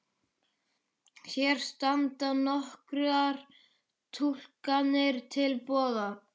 Hér standa nokkrar túlkanir til boða.